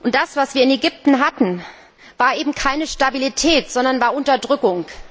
Das, was wir in Ägypten hatten, war keine Stabilität, sondern es war Unterdrückung.